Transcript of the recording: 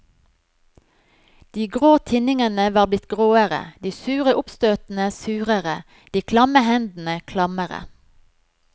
De grå tinningene var blitt gråere, de sure oppstøtene surere, de klamme hendene klammere.